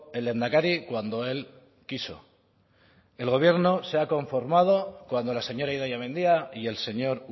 el lehendakari cuando él quiso el gobierno se ha conformado cuando la señora idoia mendia y el señor